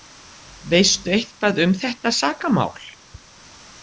Veistu eitthvað um þetta sakamál?